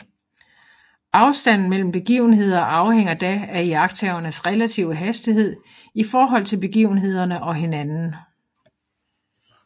Afstanden mellem begivenheder afhænger da af iagttagernes relative hastighed i forhold til begivenhederne og hinanden